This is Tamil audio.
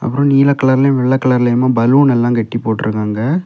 அப்ரோ நீல கலர்லயும் வெள்ளை கலர்ளையுமா பலூன் எல்லாம் கட்டி போட்டு இருக்காங்க.